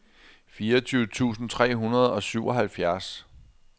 fireogtyve tusind tre hundrede og syvoghalvfjerds